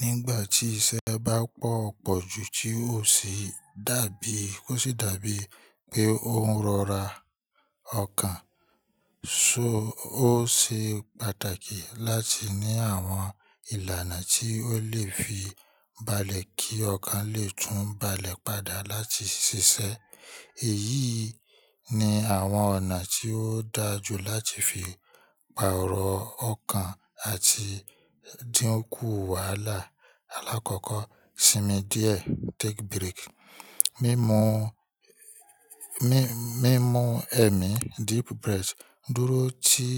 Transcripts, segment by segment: Nígbà tí iṣẹ́ bá pọ̀ pọ̀ ju tí ó sì dàbí, kó sì dàbí pé ó ń rọra ọkàn, so ó ṣe pàtàkì láti ní àwọn ìlànà tí ó lè fi balẹ̀ kí ọkàn lè tún balẹ̀ padà láti ṣiṣẹ́. Èyí ni àwọn ọ̀nà tí ó da jù láti fi pa òrò ọkàn àti dínkù wàhálà. Alákọ̀ọ́kọ́, sinmi díẹ̀, take break. Mimu, mímu ẹ̀mí, deep breath. Dúró ti,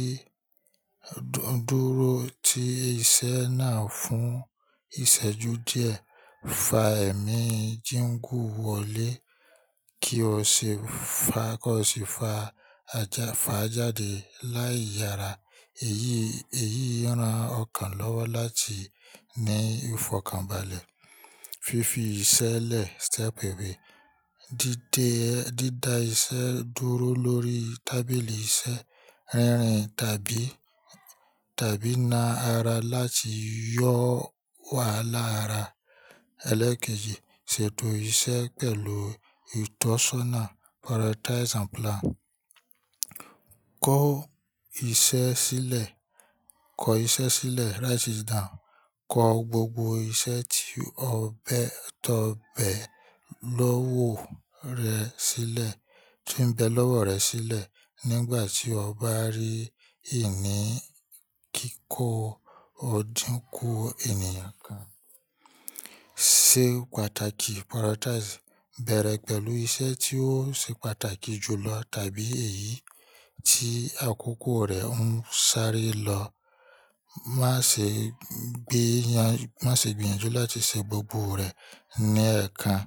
dúró ti iṣẹ́ náà fún ìṣẹ́jú díẹ̀. Fa ẹ̀mí jíńgù wọlé kí o sì fa, kí o sì fa ajáfa jáde láì yára. Èyí, èyí ń ran ọkàn lọ́wọ́ láti ní ìfọ̀kànbalẹ̀. Fifi iṣẹ́ lẹ̀, step away. Dídé, dída iṣẹ́ dúró lórí tábìlì iṣẹ́. Rẹ́rìn tàbí, tàbí na ara láti yọ́ wàhálà ara. Ẹlẹ́ẹ̀kejì, ṣètò iṣẹ́ pẹ̀lú ìtọ́sọ́nà, prioritize and plan. Kọ iṣẹ́ sílẹ̀, kọ iṣẹ́ sílẹ̀, write it down. Kọ gbogbo iṣẹ́ tí ọ bẹ, tó bẹ lọ́wọ́ rẹ sílẹ̀, tíń bẹ lọ́wọ́ rẹ sílẹ̀ nígbà tí ọ bá rí ìní kíkó, ó dínkú ènìyàn kan. Se pàtàkì, prioritize. Bẹ̀rẹ̀ pẹ̀lú iṣẹ́ tí ó ṣe pàtàkì jù lọ tàbí èyí tí àkókò rẹ ń sáré lọ. Má ṣe gbé yan, má ṣe gbìyànjú láti ṣe gbogbo rẹ̀ ní ẹ kan.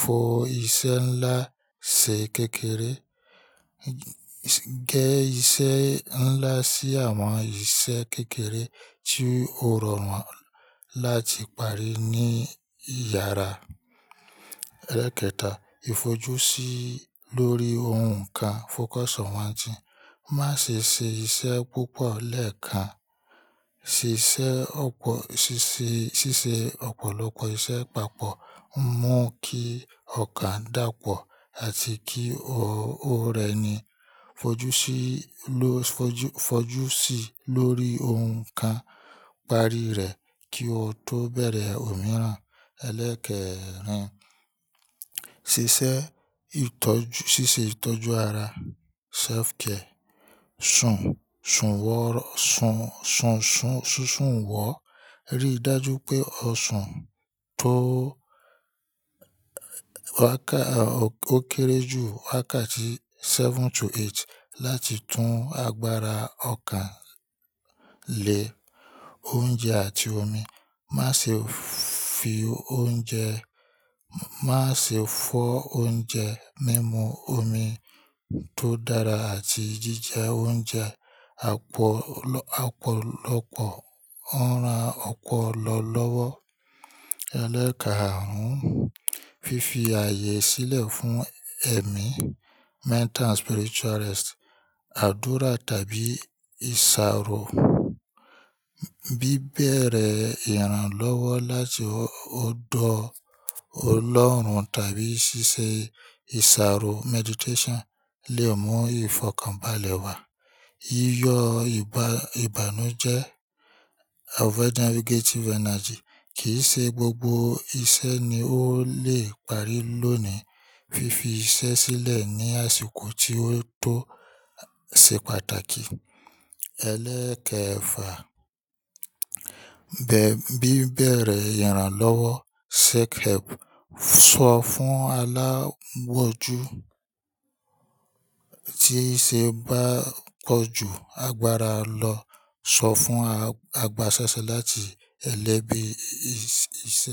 Fo iṣẹ́ ńlá ṣe kékeré. Gẹ iṣẹ́ ńlá sí àwọn iṣẹ́ kékeré tí o rọ̀ wọ́n láti parí ní ìyára. Ẹlẹ́ẹ̀kẹta, fojú sí lórí oun kan, focus on one thing. Má ṣe ṣe iṣẹ́ púpọ̀ lẹ́ẹ̀kan. Ṣíṣe ọ̀pọ̀, ṣíṣe, ṣíṣe ọ̀pọ̀lọpọ̀ iṣẹ́ papọ̀ ń mú kí ọkàn dàpọ̀ àti kí ó rẹni. Fojú sí ló, fojú, fojú sì lórí oun kan. Parí rẹ̀ kí o tó bẹ̀rẹ̀ òmíràn. Ẹlẹ́keẹ̀rin, ṣíṣe ìtọ́jú, ṣíṣe ìtọ́jú ara, self care. Sùn, sùn wọ́rọ́, sùn, sùn, sùn, sùnsun wọ́. Rí dájú pé o sùn tó wákà, ó kéré jù wákà tí seven to eight láti tún agbára ọkàn le. Oúnjẹ àti omi. Má ṣe fi oúnjẹ, má ṣe fọ́ oúnjẹ. Mimu omi tó dára àti jíjẹ oúnjẹ àpọ̀lọ́, àpọ̀lọpọ̀ ń ran ọpolo lọ́wọ́. Ẹlẹ́ẹ̀kaàrún, fífi ààyè sílẹ̀ fún ẹ̀mí, mental and spiritual rest. Àdúrà tàbí ìṣàrò. Bí bẹ̀rẹ̀ ìrànlọ́wọ́ láti ọ̀dọ̀ Ọlọ́run tàbí ṣíṣe ìṣàrò, meditation lè mú ìfọ̀kànbalẹ̀ wá. Iyọ ìbá, ìbànújẹ́, over negative energy. Kì ṣe gbogbo iṣẹ́ ni ó lè parí lónìí. Fifi iṣẹ́ sílẹ̀ ní àsìkò tí ó tó ṣe pàtàkì. Ẹlẹ́keẹ̀fà, bẹ́, bí bẹ̀rẹ̀ ìrànlọ́wọ́, seek help. Sọ fún alágbọ́jú tí iṣẹ́ bá pọjú agbára lọ. Sọ fún agbásásẹ̀ láti ẹlẹ́bi iṣẹ́.